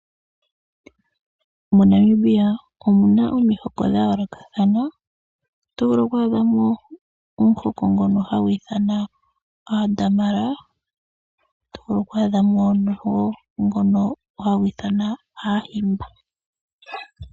MoNamibia omu na omihoko dha yoolokathana, oto vulu okwaa dhamo omuhoko ngono hagu ithanwa Aadamara. Oto a dha mo woo omuhoko ngono hagu ithanwa Aahimaba.